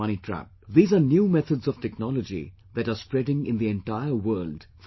These are new methods of technology that are spreading in the entire world for cheating people